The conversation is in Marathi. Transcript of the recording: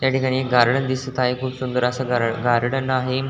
याठिकाणी गार्डन दिसत आहे खूप सुंदर आस गार्डन आहे.